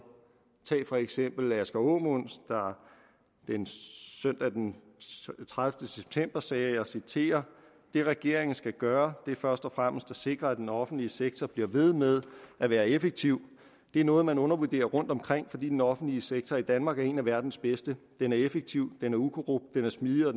tag for eksempel asger aamund der søndag den tredivete september sagde og jeg citerer det regeringen skal gøre er først og fremmest at sikre at den offentlige sektor bliver ved med at være effektiv det er noget man undervurderer rundtomkring fordi den offentlige sektor i danmark er en af verdens bedste den er effektiv den er ukorrupt den er smidig og